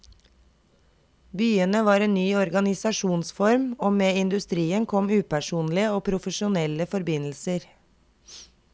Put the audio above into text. Byene var en ny organisasjonsform, og med industrien kom upersonlige og profesjonelle forbindelser.